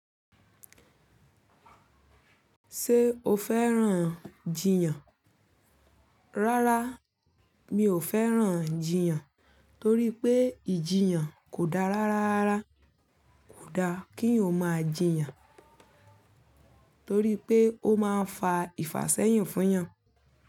Ṣé o fẹ́ràn ijiyàn? Rárá, mi ò fẹ́ràn ijiyàn torí pé ìjiyàn kò dára rárá. Kò da kí eyan máa jìyàn torí pé ó máa ń fa ìfàsẹ́yin fún eyàn.